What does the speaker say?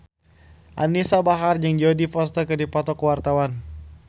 Anisa Bahar jeung Jodie Foster keur dipoto ku wartawan